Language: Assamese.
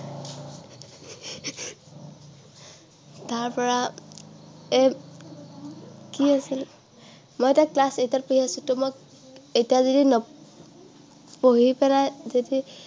তাৰ পৰা এৰ কি আছিল মই এতিয়া class eight ত পঢ়ি আছো ত' মই এতিয়া যদি পঢ়ি পেলাই যদি